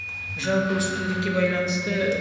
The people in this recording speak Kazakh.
жалпы үштілділікке байланысты